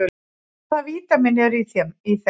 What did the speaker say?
Hvaða vítamín eru í þeim?